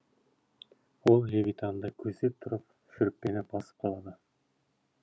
ол левитанды көздеп тұрып шүріппені басып қалады